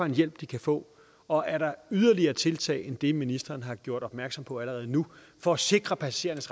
hjælp de kan få og er der yderligere tiltag end det ministeren har gjort opmærksom på allerede nu for at sikre passagerernes